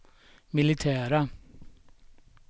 militära